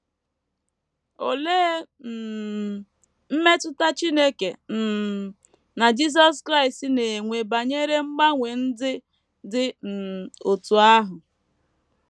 Olee um mmetụta Chineke um na Jisọs Kraịst na - enwe banyere mgbanwe ndị dị um otú ahụ?